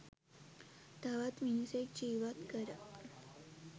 තවත් මිනිසෙක් ජීවත් කර